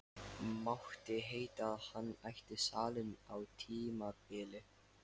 Mátti heita að hann ætti salinn á tímabili.